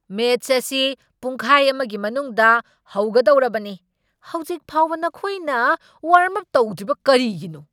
Match ꯑꯁꯤ ꯄꯨꯡꯈꯥꯏ ꯑꯃꯒꯤ ꯃꯅꯨꯡꯗ ꯍꯧꯒꯗꯧꯔꯕꯅꯤ ꯫ ꯍꯧꯖꯤꯛꯐꯧꯕ ꯅꯈꯣꯏꯅ ꯋ꯭ꯔꯝꯑꯞ ꯇꯧꯗ꯭ꯔꯤꯕ ꯀꯔꯤꯒꯤꯅꯣ?